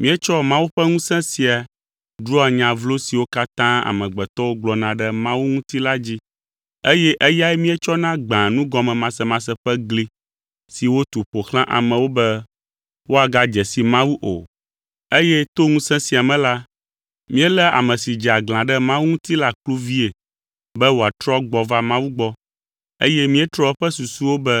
Míetsɔa Mawu ƒe ŋusẽ sia ɖua nya vlo siwo katã amegbetɔwo gblɔna ɖe Mawu ŋuti la dzi, eye eyae míetsɔna gbãa nugɔmemasemase ƒe gli si wòtu ƒo xlã amewo be woagadze si Mawu o. Eye to ŋusẽ sia me la, míeléa ame si dze aglã ɖe Mawu ŋuti la kluvii be wòatrɔ gbɔ va Mawu gbɔ, eye míetrɔa eƒe susuwo be